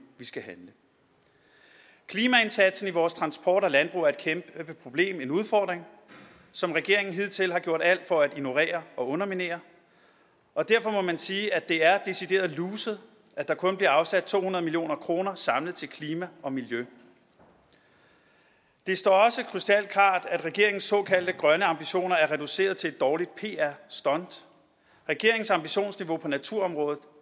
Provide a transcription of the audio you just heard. vi skal handle klimaindsatsen i vores transport og landbrug er et kæmpe problem og en udfordring som regeringen hidtil har gjort alt for at ignorere og underminere og derfor må man sige at det er decideret luset at der kun bliver afsat to hundrede million kroner samlet til klima og miljø det står også krystalklart at regeringens såkaldte grønne ambitioner er reduceret til et dårligt pr stunt regeringens ambitionsniveau på naturområdet